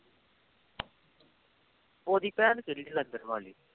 ਉਹਦੀ ਭੈਣ ਕਿਹੜੀ ਜਲੰਧਰ ਵਾਲੀ।